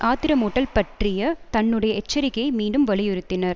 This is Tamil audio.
ஆத்திரமூட்டல் பற்றிய தன்னுடைய எச்சரிக்கையை மீண்டும் வலியுறுத்தினர்